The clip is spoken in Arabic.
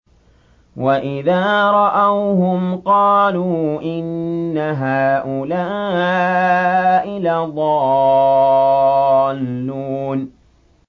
وَإِذَا رَأَوْهُمْ قَالُوا إِنَّ هَٰؤُلَاءِ لَضَالُّونَ